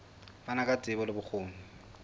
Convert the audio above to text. fana ka tsebo le bokgoni